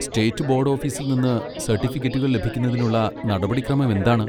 State board ഓഫീസിൽ നിന്ന് സർട്ടിഫിക്കറ്റുകൾ ലഭിക്കുന്നതിനുള്ള നടപടിക്രമം എന്താണ്?